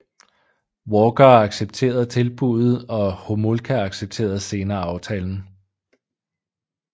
Walker accepteret tilbuddet og Homolka accepterede senere aftalen